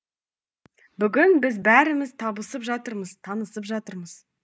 бүгін біз бәріміз табысып жатырмыз танысып жатырмыз